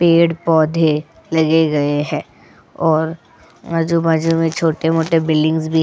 पेड़ पौधे लगे गए हैं और माजू-बाजू में छोटे-मोटे बिल्डिंग्स में.